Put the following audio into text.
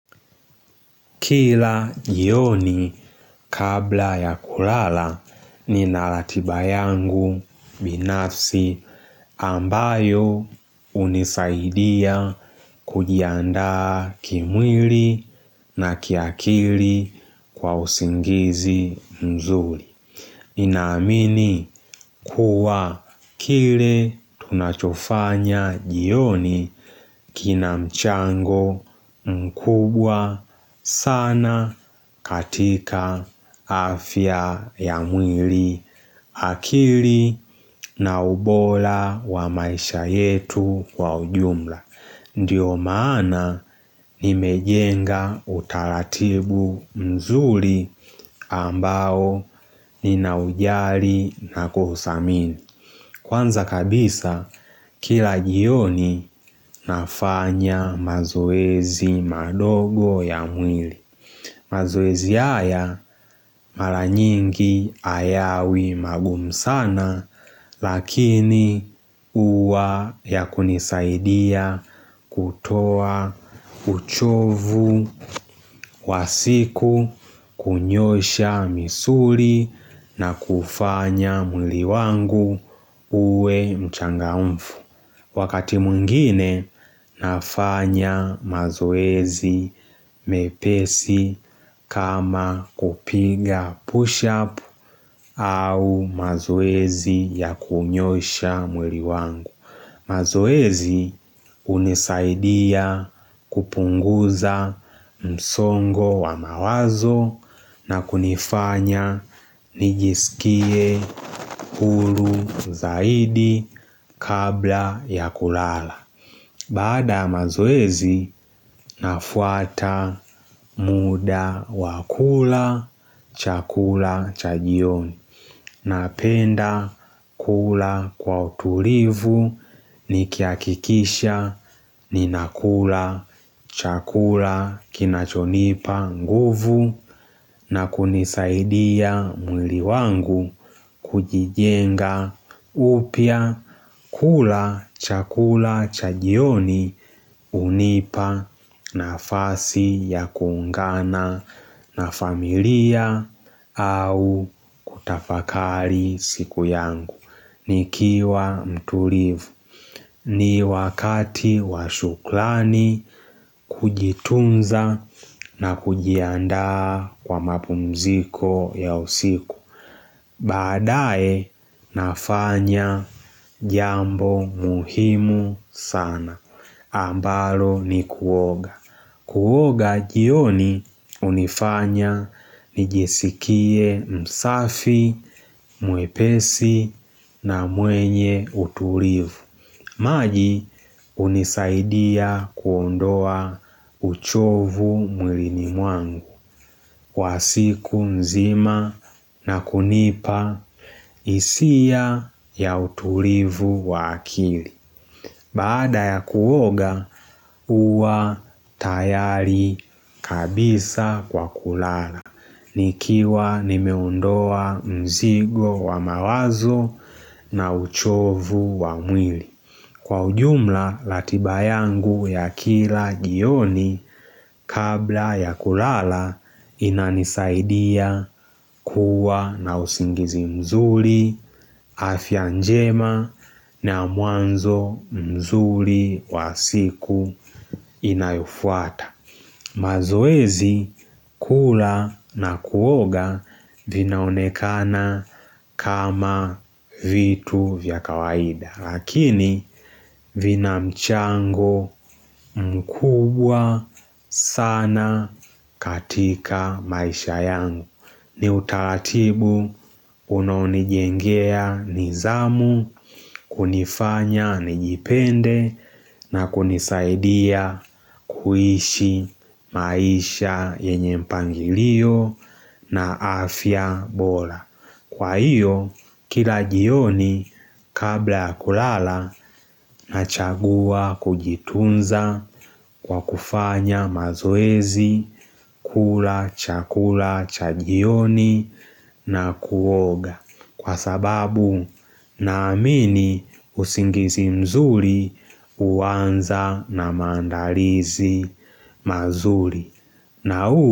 Kila jioni kabla ya kulala nina ratiba yangu binafsi ambayo hunisaidia kujiandaa kimwili na kiakili kwa usingizi mzuri. Ninaamini kuwa kile tunachofanya jioni kina mchango mkubwa sana katika afya ya mwili akili na ubola wa maisha yetu wa ujumla. Ndiyo maana nimejenga utaratibu mzuri ambao ninaujali na kuuthamini Kwanza kabisa kila jioni nafanya mazoezi madogo ya mwili mazoezi haya mara nyingi hayawi magumu sana lakini huwa yakunisaidia kutoa uchovu wa siku kunyoosha misuli na kufanya mwili wangu uwe mchangamfu. Wakati mwingine nafanya mazoezi mepesi kama kupiga push up au mazoezi ya kunyoosha mwili wangu. Mazoezi hunisaidia kupunguza msongo wa mawazo na kunifanya nijisikie huru zaidi kabla ya kulala. Baada ya mazoezi, nafuata muda wa kula chakula cha jioni. Napenda kula kwa utulivu nikihakikisha ninakula chakula kinachonipa nguvu na kunisaidia mwili wangu kujijenga upya kula chakula cha jioni hunipa. Nafasi ya kuungana na familia au kutafakari siku yangu. Nikiwa mtulivu. Ni wakati wa shukrani kujitunza na kujiandaa kwa mapumziko ya usiku. Baadae nafanya jambo muhimu sana. Ambalo ni kuoga. Kuoga jioni hunifanya nijisikie msafi, mwepesi na mwenye utulivu. Maji hunisaidia kuondoa uchovu mwilini mwangu. Wa siku mzima na kunipa hisia ya utulivu wa akili. Baada ya kuoga huwa tayari kabisa kwa kulala. Nikiwa nimeondoa mzigo wa mawazo na uchovu wa mwili. Kwa ujumla ratiba yangu ya kila jioni kabla ya kulala inanisaidia kuwa na usingizi mzuri afya njema na mwanzo mzuri wa siku inayofuata. Mazoezi kula na kuoga vinaonekana kama vitu vya kawaida. Lakini vina mchango mkubwa sana katika maisha yangu. Ni utaratibu unonijengea nidhamu kunifanya nijipende na kunisaidia kuishi maisha yenye mpangilio na afya bora Kwa hiyo, kila jioni kabla ya kulala nachagua kujitunza kwa kufanya mazoezi, kula, chakula, cha jioni na kuoga. Kwa sababu na amini usingizi mzuri huanza na maandalizi mazuri.